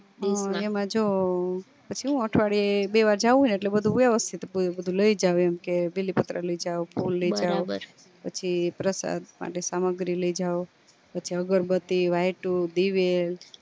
એમાં જો પછી હું અઠવાડિયે બે વાર જાઉં ને એટલે બધું વ્યવસ્થિત પૂરું બધું લય જાવ એમ કે બીલી પત્ર લઇ જાવ ફૂલ લઇ જાવ પછી પ્રસાદ માટે સામગ્રી લઇ જાવ પછી અગરબતી વાયતું દીવેલ